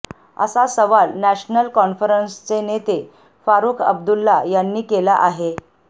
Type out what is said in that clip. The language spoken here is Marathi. असा सवाल नॅशनल कॉन्फरन्सचे नेते फारुख अब्दुल्ला यांनी केला आहे